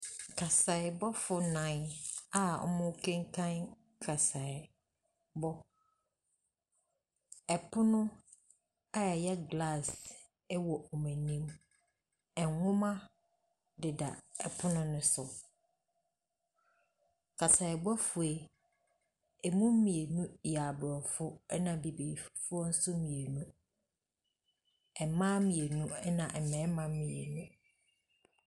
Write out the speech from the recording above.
Kaseɛbɔfo nnan a wɔn rekenkan nkaseɛbɔ. Ɛpono a ɛyɛ glasse ɛwɔ n'anim. Ɛnwomma deda ɛpono no so. Kaseɛbɔfoɔ yi ɛmu mmienu yɛ aborɔfo ɛna abibifoɔ nso mmienu. Ɛmmaa mmienu ɛna mmarima mmienu.